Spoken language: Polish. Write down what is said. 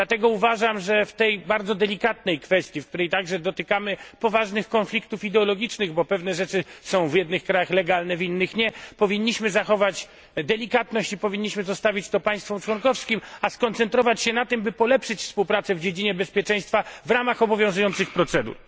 Dlatego uważam, że w tej bardzo delikatnej kwestii, w której także dotykamy poważnych konfliktów ideologicznych, bo pewne rzeczy są w jednych krajach legalne, w innych nie, powinniśmy zachować delikatność i zostawić to państwom członkowskim, a skoncentrować się na tym, by polepszyć współpracę w dziedzinie bezpieczeństwa w ramach obowiązujących procedur.